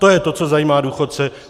To je to, co zajímá důchodce.